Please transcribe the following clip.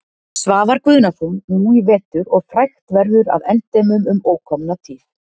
Svavar Guðnason nú í vetur og frægt verður að endemum um ókomna tíð.